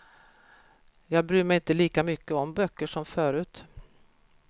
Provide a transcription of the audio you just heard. Jag bryr mig inte lika mycket om böcker som förut.